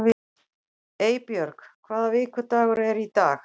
Eybjörg, hvaða vikudagur er í dag?